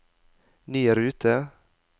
ny rute